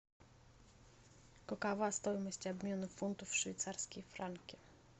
какова стоимость обмена фунтов в швейцарские франки